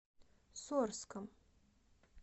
сорском